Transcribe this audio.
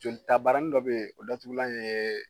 Jolitabarani dɔ bɛ yen, o datugulan ye